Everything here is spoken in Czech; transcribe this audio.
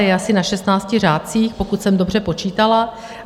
Je asi na 16 řádcích, pokud jsem dobře počítala.